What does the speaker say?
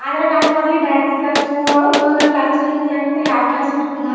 ಆದ್ರೆ ನಮ್ಮೂರಲ್ಲಿ dance class yoga class ಹಿಂಗ್ ಎಂತ ಯಾವ್ ಕ್ಲಾಸ್ ಇರ್ಲಿಲ್ಲಾ.